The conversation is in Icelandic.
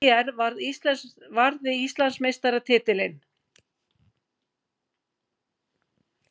ÍR varði Íslandsmeistaratitilinn